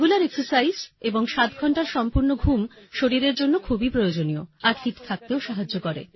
regular exercise এবং ৭ঘণ্টার সম্পূর্ণ ঘুম শরীরের জন্য খুবই প্রয়োজনীয় আর ফিট থাকতেও সাহায্য করে